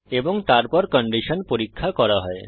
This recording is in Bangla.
এবং তারপর কন্ডিশন পরীক্ষা করা হয়